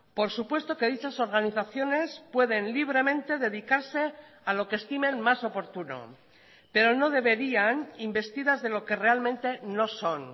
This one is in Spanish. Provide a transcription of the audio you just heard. por supuesto que dichas organizaciones pueden libremente dedicarse a lo que estimen más oportuno pero no deberían investidas de lo que realmente no son